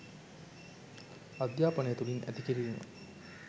අධ්‍යාපනය තුළින් ඇති කිරීම